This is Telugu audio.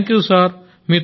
thank you sir